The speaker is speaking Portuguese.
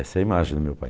Essa é a imagem do meu pai.